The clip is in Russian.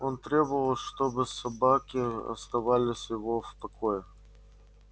он требовал чтобы собаки оставались его в покое